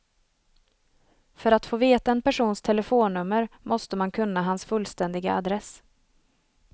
För att få veta en persons telefonnummer måste man kunna hans fullständiga adress.